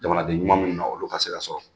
Jamanaden ɲuman minnu na olu ka se ka sɔrɔ.